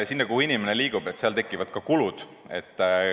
Seal, kuhu inimene liigub, tekivad ka kulud.